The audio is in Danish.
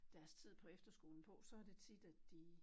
Deres tid på efterskolen på så det tit at de